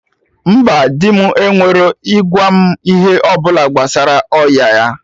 Mba, dị m ekwerọ ịgwa m ihe ọbụla gbasara ọya ya